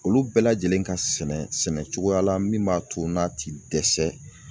Olu bɛɛ lajɛlen ka sɛnɛ sɛnɛ cogoya la min b'a to n'a ti dɛsɛ